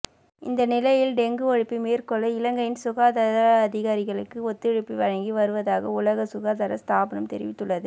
இந்த நிலையில் டெங்கு ஒழிப்பை மேற்கொள்ள இலங்கையின் சுகாதார அதிகாரிகளுக்கு ஒத்துழைப்பை வழங்கி வருவதாக உலக சுகாதார ஸ்தாபனம் தெரிவித்துள்ளது